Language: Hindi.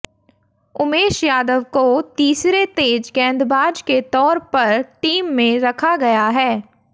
उमेश यादव को तीसरे तेज गेंदबाज के तौर पर टीम में रखा गया है